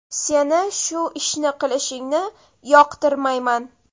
Seni shu ishni qilishingni yoqtirmayman.